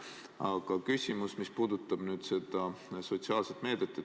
Aga küsimus puudutab seda sotsiaalset meedet.